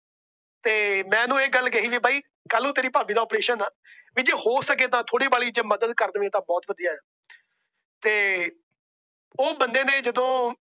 ਮੈ ਓਹਨੂੰ ਇਹ ਗੱਲ ਕਹਿ ਬਾਈ ਕੱਲ ਨੂੰ ਤੇਰੀ ਭਾਬੀ ਦਾ ਅਪਰੇਸ਼ਨ ਏ। ਤੇ ਜੇ ਹੋ ਸਕੇ ਥੋੜੀ ਬਹੁਤ ਮਦਦ ਕਰ ਦੇਵੇ ਤਾਂ ਬਹੁਤ ਵਧੀਆ। ਤੇ ਉਹ ਬੰਦੇ ਨੇ ਜਦੋ